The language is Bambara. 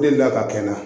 Delila ka kɛ n na